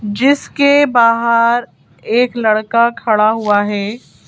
जीसके बाहर एक लड़का खड़ा हुआ है।